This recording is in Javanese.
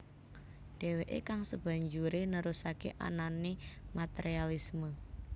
Deweke kang sebanjure nerusake anane materialisme